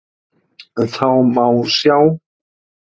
Þá má sjá